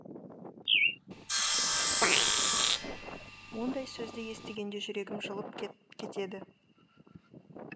ондай сөзді естігенде жүрегім жылып кетеді